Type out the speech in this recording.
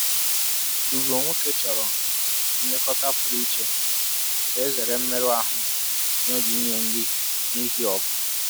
Ugo nwoke chọrọ nlekọta pụrụ iche ka e zere mmerụ ahụ n’oge inye nri n’ihi ọgụ.